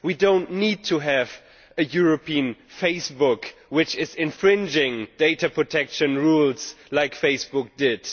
We do not need to have a European Facebook which is infringing data protection rules, like Facebook did.